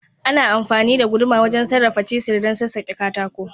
Ana amfani da guduma wajen sarrafa cisir dan sassake katako.